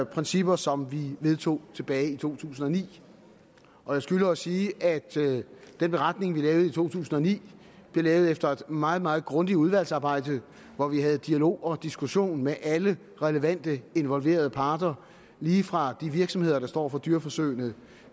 principper som vi vedtog tilbage i to tusind og ni og jeg skylder at sige at den beretning vi lavede i to tusind og ni blev lavet efter et meget meget grundigt udvalgsarbejde hvor vi havde dialog og diskussion med alle relevante involverede parter lige fra de virksomheder der står for dyreforsøgene